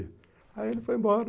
Aí ele foi embora.